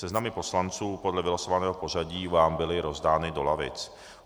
Seznam poslanců podle vylosovaného pořadí vám byly rozdán do lavic.